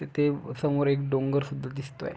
तिथे समोर एक डोंगर सुद्धा दिसतोय.